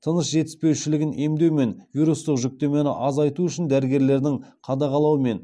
тыныс жетіспеушілігін емдеу мен вирустық жүктемені азайту үшін дәрігерлердің қадағалауымен